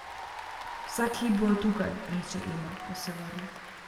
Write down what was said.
Vsak hip bojo tukaj, reče Ema, ko se vrne.